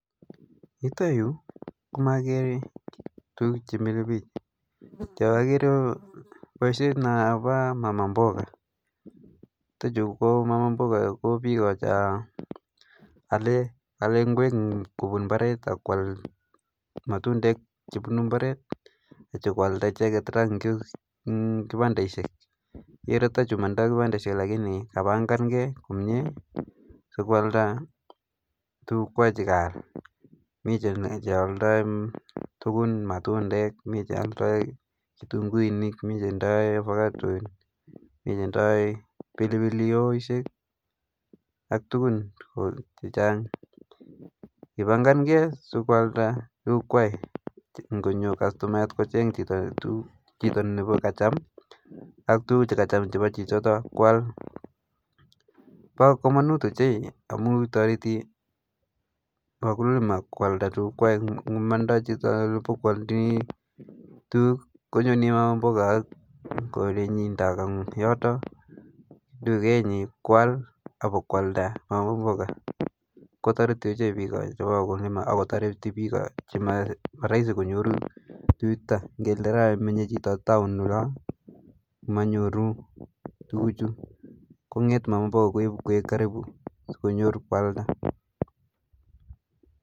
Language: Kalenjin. Yuton yu komogere tuguuk chemile biik, cheogere ko boishiet nebo mama mboga. Chuton chu ko mama mboga ko biik cheole ing'wek kobuun iimbaret ak koal, matundeek chebunu imbaret ak yeityo koaldaa icheket en kibandaisiek. Ititoi kibandaisiek lakini kapangan kei komie, sikoaldaa tuguuk koyochigei kasit. Miten cheoldoi tuguun, matundek, mii cheoldoi kitunguuinik, mi cheoldoi avocados, mi cheoldoi pilipilihohoisiek, ak tuguun chechang. Kibangangei, sikoaldai, sikonyoo kastomayaat kocheng tuguuk chito chekacham, ak tuguuk chekacham chebo chichotok, koal. Bo komonut ochei amun toretii wakulima koaldai tuguuk, mandai chito ibakoaldaa tuguuk, konyone maamboga, yoton tigenyin koal ak ibakoaldaa, kou mboga kotoretii bik ochei. Che wakulima ak kotoretii bik, chemoroisi konyor tuguchuton. Ingele raining menye chito taon oloon, manyooru tuguchu, kongete mamaboga koibu koba karibu sikonyoor koaldaa.